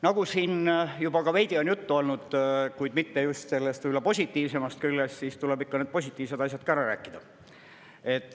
Nagu siin juba ka veidi on juttu olnud, kuid mitte just sellest positiivsemast küljest, siis tuleb ikka need positiivsed asjad ka ära rääkida.